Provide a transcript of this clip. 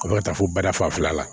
Ka ka taa fo bada fanfɛla la